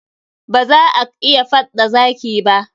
Ba za ak iya faɗ da zaki ba.